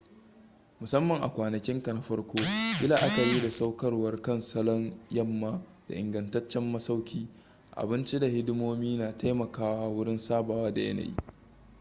musamman a kwanakinka na farko yi la'akari da saukarwa kan salon yamma da ingantaccen masauki abinci da hidimomi na taimakawa wurin sabawa da yanayi